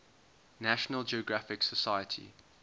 national geographic society